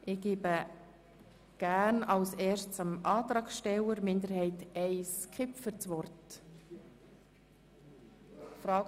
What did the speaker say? Zuerst erteile ich dem Antragsteller der FiKo-Minderheit I das Wort, Grossrat Kipfer.